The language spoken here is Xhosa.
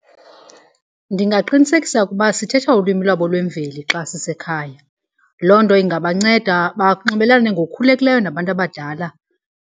Ndingaqinisekisa ukuba sithetha ulwimi lwabo lwemveli xa sisekhaya. Loo nto ingabanceda banxibelelane ngokukhululekileyo nabantu abadala.